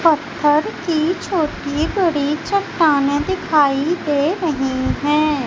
पत्थर की छोटी बड़ी चट्टानें दिखाई दे रही है।